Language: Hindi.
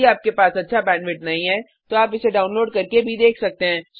यदि आपके पास अच्छा बैंडविड्थ नहीं है तो आप इसे डाउनलोड करके देख सकते हैं